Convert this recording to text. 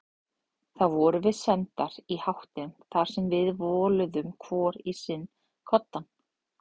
Þá vorum við sendar í háttinn þar sem við voluðum hvor í sinn koddann.